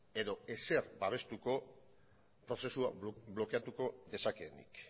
edo ezer babestuko prozesua blokeatuko dezakeenik